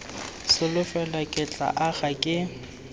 solofela ke tla aga ke